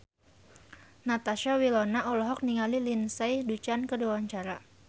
Natasha Wilona olohok ningali Lindsay Ducan keur diwawancara